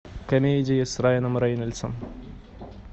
комедии с райаном рейнольдсом